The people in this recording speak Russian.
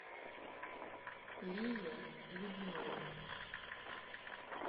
лие любимовой